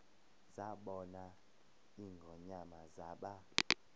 zabona ingonyama zaba